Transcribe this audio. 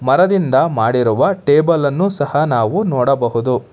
ಮರದಿಂದ ಮಾಡಿರುವ ಟೇಬಲ್ ಅನ್ನು ಸಹ ನಾವು ನೋಡಬಹುದು.